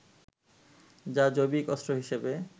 যা জৈবিক অস্ত্র হিসেবে